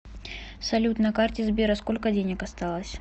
салют на карте сбера сколько денег осталось